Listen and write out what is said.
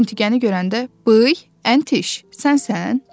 Əntiqəni görəndə, "bıy, Əntiş, sənsən?